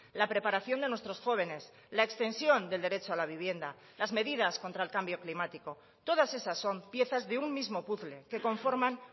la preparación de nuestros jóvenes la extensión del derecho a la vivienda las medidas contra el cambio climático todas esas son piezas de un mismo puzle que conforman